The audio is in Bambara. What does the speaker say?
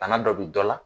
Bana dɔ bɛ dɔ la